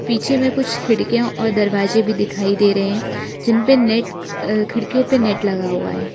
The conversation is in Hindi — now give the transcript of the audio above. पीछे में कुछ खिड़कियां और दरवाजे भी दिखाई दे रहे हैं जिन पे नेट अ खिड़कियों पर नेट लगा हुआ है।